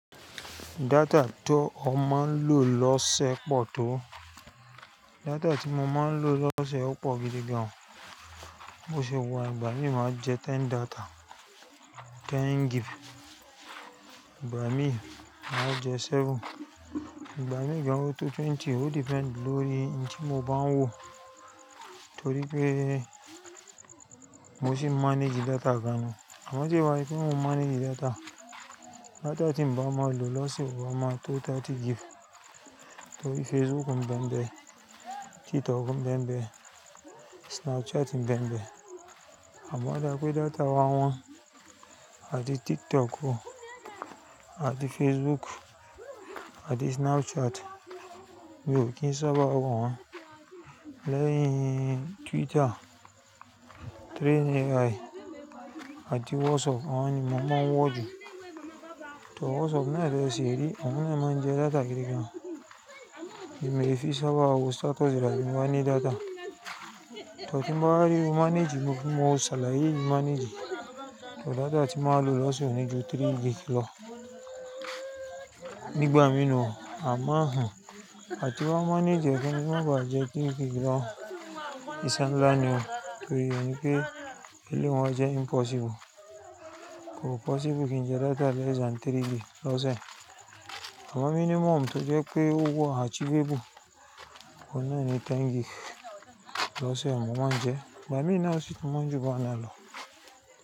Data tó ọ máa ń lò lọ́sẹ̀ pọ̀ tó. Data tí mo máa ń lò lọ́sẹ̀ ó pọ̀ gidi gan. Mo ṣe wà, ìgbà mí máa jẹ ten data, ten gig. Ìgbà mí máa jẹ seven, ìgbà mìíràn ó tó twenty. Ó depend lórí ohun tí mo bá ń wò. Torí pé mo sì manage data gan ni. Àmọ́ sé wa pé kí n manage data, data tí bàá máa lò lọ́sẹ̀ ó máa tó thirty gig. Torí Facebook n bẹmbẹ, Twitter n bẹmbẹ, Snapchat n bẹmbẹ. Àmọ́ dá pé data wa wọ́n, àtí TikTok o, àtí Facebook, àtí Snapchat, mi ò kí n sábà wọ́n. Lẹ́yìn Twitter, Train AI àtí WhatsApp, àwọn ni mo máa ń wọ̀ jù. To WhatsApp náà jẹ́ sirí, òun ni máa ń jẹ data gidi gan. Èmi ẹ fi sábà wo status rárá bí mo bá ní data. Torí bí mo bá rí o manage, mo fi mọ́ ṣàlàyé manage. To data tí màá lò lọ́sẹ̀ ni ju three gig lọ. Ní ìgbà mìíràn a máa hàn. Àti bá manage ọ̀fẹ́, mo máa ba à jẹ́ tí ìgbà mí lọ́. Ìṣenlá ni o. Torí ìyẹn pé eléwọ̀n jẹ́ impossible. Kò possible kí n jẹ data lẹ́yìn sán three gig lọ́sẹ̀. Àmọ́ minimum tó jẹ́ pé wa achievable, òun náà ni ten gig lọ́sẹ̀ mo máa ń jẹ. Ìgbà mìíràn sì tí mo ń ju ban ná lò.